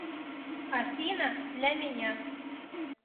афина для меня